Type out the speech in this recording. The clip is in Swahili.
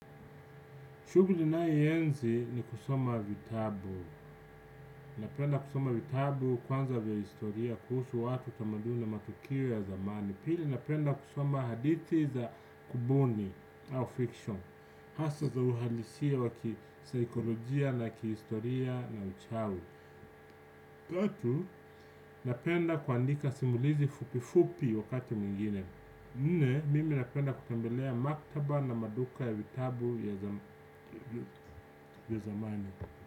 Shughuli ninayoienzi ni kusoma vitabu. Napenda kusoma vitabu kwanza vya historia, kuhusu watu tamaduni na matukio ya zamani. Pili napenda kusoma hadithi za kubuni au fiction. Hasa za uhalisia wa kisaikolojia na kihistoria na uchawi. Tatu napenda kuandika simulizi fupi fupi wakati mwingine. Nne, mimi napenda kutembelea maktaba na maduka ya vitabu ya zamani.